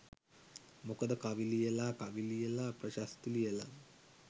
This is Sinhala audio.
මොකද කවි ලියලා කවි ලියලා ප්‍රශස්ති ලියලා